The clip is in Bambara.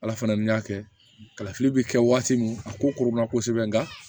Ala fana ni y'a kɛ kalafili bɛ kɛ waati min a ko koronna kosɛbɛ nga